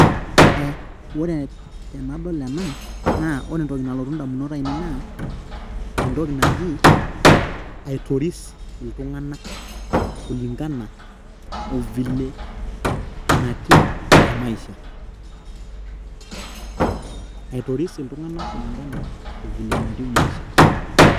Ee, ore tenadol ena naa ore entoki nalotu indamunot aaineii naa entoki naji aitoris iltung'anak kulinkana ovile natiu temaisha aitoris iltung'anak ovile natiu maisha .